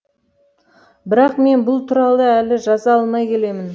бірақ мен бұл туралы әлі жаза алмай келемін